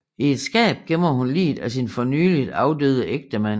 I et skab gemmer hun liget af sin fornyeligt afdøde ægtemand